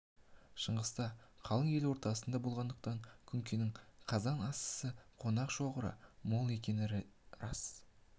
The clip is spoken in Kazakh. шыңғыста қалың ел ортасында болғандықтан күнкенің қазан асысы қонақ шоғыры мол екені де рас